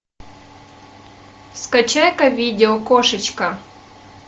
скачай ка видео кошечка